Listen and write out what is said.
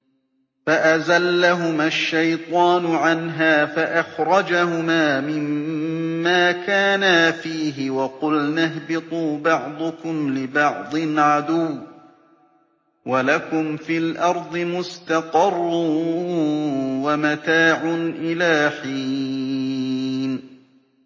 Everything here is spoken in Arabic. فَأَزَلَّهُمَا الشَّيْطَانُ عَنْهَا فَأَخْرَجَهُمَا مِمَّا كَانَا فِيهِ ۖ وَقُلْنَا اهْبِطُوا بَعْضُكُمْ لِبَعْضٍ عَدُوٌّ ۖ وَلَكُمْ فِي الْأَرْضِ مُسْتَقَرٌّ وَمَتَاعٌ إِلَىٰ حِينٍ